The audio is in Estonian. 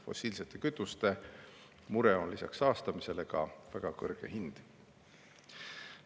Fossiilsete kütuste puhul on lisaks saastamisele mure ka väga kõrge hind.